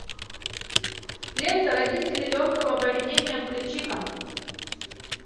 лента родители легкого поведения включи ка